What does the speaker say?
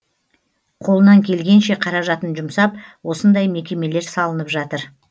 қолынан келгенше қаражатын жұмсап осындай мекемелер салынып жатыр